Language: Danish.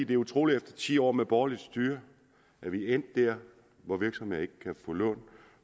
det er utroligt efter ti år med borgerligt styre at vi er endt der hvor virksomheder